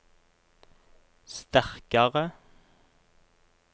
sterkare